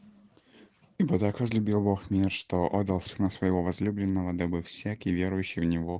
ибо так возлюбил бог мир что отдал сына своего возлюбленного дабы всякий верующий в него